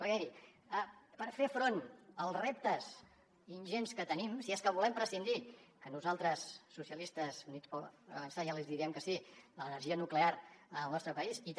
perquè miri per fer front als reptes ingents que tenim si és que volem prescindir que nosaltres socialistes i units per avançar ja els diem que sí de l’energia nuclear al nostre país i també